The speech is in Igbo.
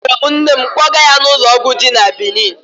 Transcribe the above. Akpọrọ m nne m kpọga ya n'ụlọ ọgwụ dị na Benin.